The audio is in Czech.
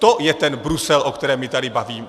To je ten Brusel, o kterém se tady bavíme.